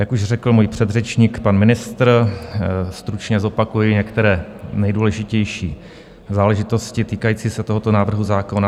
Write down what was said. Jak už řekl můj předřečník, pan ministr, stručně zopakuji některé nejdůležitější záležitosti týkající se tohoto návrhu zákona.